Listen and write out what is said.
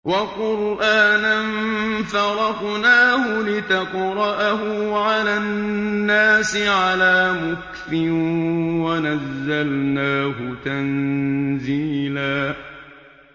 وَقُرْآنًا فَرَقْنَاهُ لِتَقْرَأَهُ عَلَى النَّاسِ عَلَىٰ مُكْثٍ وَنَزَّلْنَاهُ تَنزِيلًا